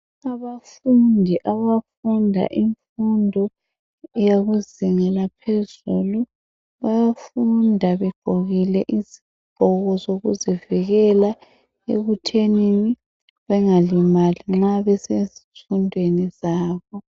Abafundi abafunda imfundo yezinga laphezulu bayafunda begqokile izigqoko zokuzivikela ekuthenini bengalimali nxa besezifundweni zabo